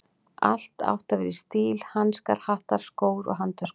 Allt átti að vera í stíl: hanskar, hattar, skór og handtöskur.